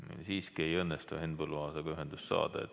Nii, siiski ei õnnestu Henn Põlluaasaga ühendust saada.